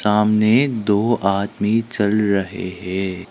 सामने दो आदमी चल रहे हैं।